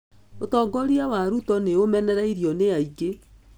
ũtongoria wa Ruto nĩ ũmenereirio nĩ aingĩ.